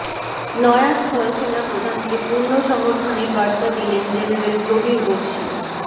নয়া স্থলসেনা প্রধানকে পূর্ণ সমর্থনের বার্তা দিলেন জেনারেল প্রবীর বক্সী